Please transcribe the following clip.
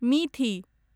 मिथि